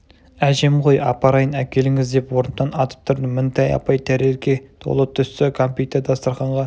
әжем ғой апарайын әкеліңіз деп орнымнан атып тұрдым мінтай апай тәрелке толы түрлі түсті кәмпитті дастарқанға